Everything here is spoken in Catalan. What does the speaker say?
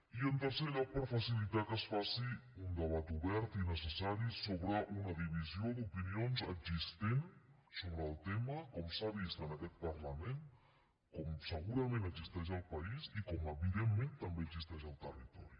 i en tercer lloc per facilitar que es faci un debat obert i necessari sobre una divisió d’opinions existent sobre el tema com s’ha vist en aquest parlament com segurament existeix al país i com evidentment també existeix al territori